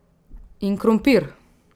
In krompir!